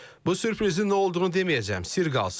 Bu sürprizi nə olduğunu deməyəcəm, sirr qalsın.